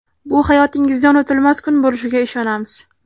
Bu hayotingizda unutilmas kun bo‘lishiga ishonamiz.